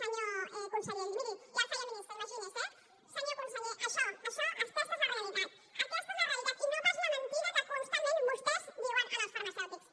senyor conseller miri ja el feia ministre imagini’s eh senyor conseller això això aquesta és la realitat aquesta és la realitat i no pas la mentida que constantment vostès diuen als farmacèutics